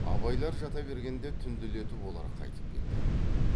абайлар жата бергенде түнделетіп олар қайтып келді